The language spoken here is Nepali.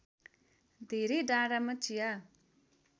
धेरै डाँडामा चिया